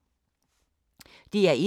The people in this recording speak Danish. DR1